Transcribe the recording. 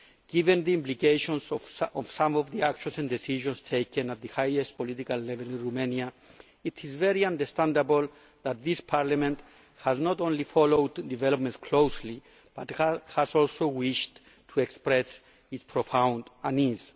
Given the implications of some of the actions and decisions taken at the highest political level in Romania, it is very understandable that this Parliament has not only followed developments closely, but has also wished to express its profound unease.